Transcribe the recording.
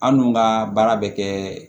An dun ka baara bɛ kɛ